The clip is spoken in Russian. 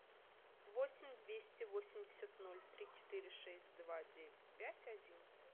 восемь двести восемьдесят ноль три четыре шесть два девять пять один